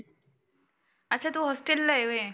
अच्छा तु हॉस्टेलला ला आहे व्हय?